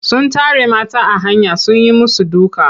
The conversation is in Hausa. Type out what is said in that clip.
Sun tare mata a hanya sun yi musu duka.